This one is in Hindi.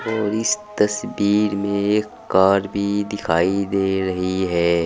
और इस तस्वीर में एक कार भी दिखाई दे रही है।